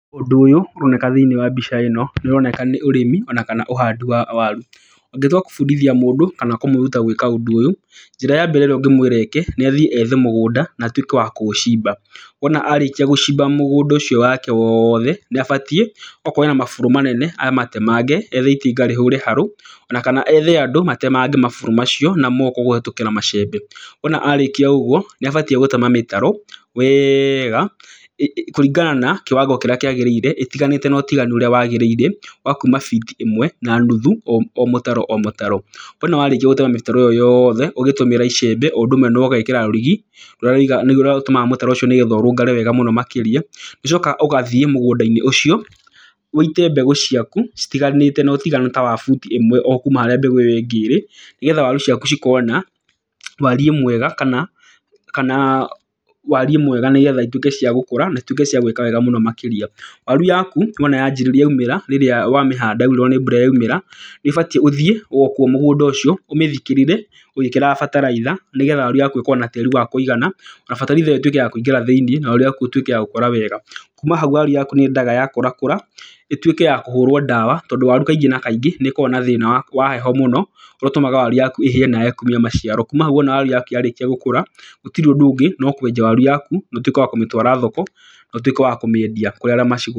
Ũndũ ũyũ ũroneka thĩiniĩ wa mbica ĩno nĩ ũroneka nĩ ũrĩmi ona kana ũhandi wa waru. Ũngĩtua kũbundithia mũndũ kana kũmũruta gwĩka ũndũ ũyũ, njĩra ya mbere ĩrĩa ũngĩmwĩra eke nĩ athiĩ ethe mũgũnda na atuĩke wa kũũcimba. Wona arĩkia gũcimba wake wothe, nĩ abatiĩ okorwo ena maburũ manene amatemange, ethe itinga rĩhũre harũ, ona kana ethe andũ matemange maburũ macio na moko kũhĩtũkĩra macembe. Wona arĩkia ũguo nĩ abatiĩ gũtema mĩtaro wega, kũringana na kiwango kĩrĩa kĩagirĩire etĩganĩte na ũtiganu ũrĩa wagĩrĩire, wa kuma biti ĩmwe na nuthu o mũtaro o mũtaro. Wona warĩkia gũtema mĩtaro ĩyo yothe ũgĩtũmĩra icembe o ũndũ ũmwe na ũgekĩra rũrigi, nĩruo rũtũmaga mũtaro ũcio nĩguo ũrũngare wega makĩria. Nĩ ũcokaga ũgathiĩ mũgũnda-inĩ ũcio, ũite mbegũ ciaku citiganĩte na ũtiganu ta wa buti ĩmwe o kuuma harĩa mbegũ ĩrĩa ĩngĩ ĩrĩ. Nĩgetha waru ciaku cikorwo na wariĩ mwega kana wariĩ mwega nĩgetha ituĩke cia gũkũra na ituĩke cia gwĩka wega mũno makĩria. Waru yaku wona yaumĩra rĩrĩa wamĩhanda yaurĩrwo nĩ mbura yaumĩra, nĩ ũbatiĩ ũthiĩ o kuo mũgũnda ũcio ũmĩthikĩrĩre ũgĩkĩraga bataraitha, nĩgetha waru yaku ĩkorwo na tĩĩri wa kũigana, na bataraitha ĩyo ĩtuĩke ya kũingĩra thĩiniĩ na waru yaku ĩtuĩke ya gũkũra wega. Kuma hau yaku nĩ yendaga yakũrakũra ĩtuĩke ya kũhũrwo ndawa, tondũ waru kaingĩ na kaingĩ nĩ ĩkoragwo na thĩna wa heho mũno, ũrĩa ũtũmaga waru yaku ĩhĩe na yaage kumia maciaro. Kuma hau wona waru yaku ya rĩkia gũkũra, gũtirĩ ũndũ ũngĩ no kwenja waru yaku na ũtuĩke wa kũmĩtwara thoko, na ũtuĩke wa kũmĩendia kũrĩ arĩa maci...